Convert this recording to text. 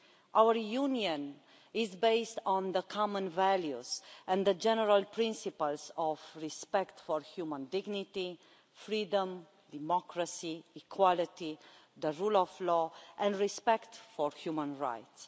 Our Union is based on the common values and the general principles of respect for human dignity, freedom, democracy, equality, the rule of law and respect for human rights.